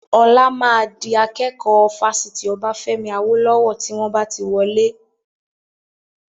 Ọlá máa di akẹ́kọ̀ọ́ Fásitì Obafemi Awolowo tí wọn bá ti wọlé.